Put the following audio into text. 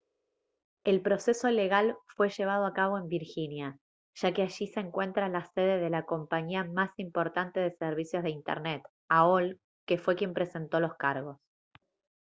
el proceso legal fue llevado a cabo en virginia ya que allí se encuentra la sede de la compañía más importante de servicios de internet aol que fue quien presentó los cargos